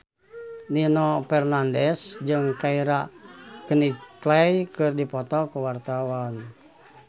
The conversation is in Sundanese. Nino Fernandez jeung Keira Knightley keur dipoto ku wartawan